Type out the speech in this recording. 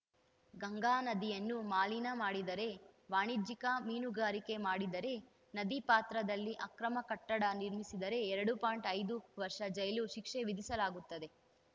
ಗಂಗಾ ನದಿಯನ್ನು ಮಲಿನ ಮಾಡಿದರೆ ವಾಣಿಜ್ಯಿಕ ಮೀನುಗಾರಿಕೆ ಮಾಡಿದರೆ ನದಿ ಪಾತ್ರದಲ್ಲಿ ಅಕ್ರಮ ಕಟ್ಟಡ ನಿರ್ಮಿಸಿದರೆ ಎರಡು ಪಾಯಿಂಟ್ ಐದು ವರ್ಷ ಜೈಲು ಶಿಕ್ಷೆ ವಿಧಿಸಲಾಗುತ್ತದೆ